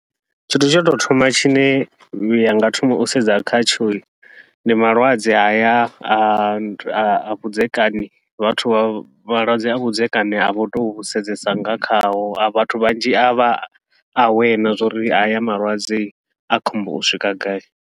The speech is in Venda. Tshithu tsha u tou thoma tshine ya nga thoma u sedza khatsho, ndi malwadze haya a vhudzekani vhathu vha malwadze ha vhudzekani a vha tou vhu sedzesa nga khaho a vhathu vhanzhi avha aware na zwa uri haya malwadze a khombo u swika gai.